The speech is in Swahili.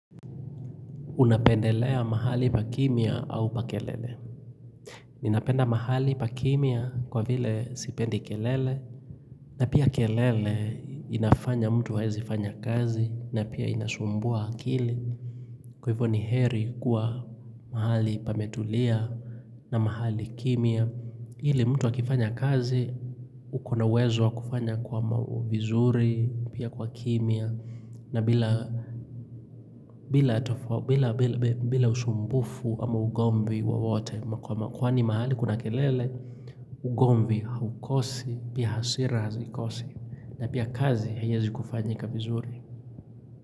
Unapendelea mahali pa kimya au pa kelele? Ninapenda mahali pa kimya kwa vile sipendi kelele na pia kelele inafanya mtu haezifanya kazi na pia inasumbua akili Kwa hivyo ni heri kuwa mahali pametulia na mahali kimya ili mtu akifanya kazi uko na uwezo wa kufanya kwa vizuri pia kwa kimya na bila usumbufu ama ugomvi wowote, kwani mahali kuna kelele, ugomvi haukosi, pia hasira hazikosi, na pia kazi haiweI kufanyika vizuri.